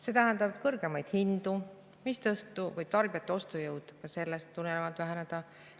See tähendab kõrgemaid hindu, mistõttu võib tarbijate ostujõud sellest tulenevalt väheneda.